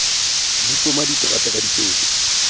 di poma diterata ka dipeta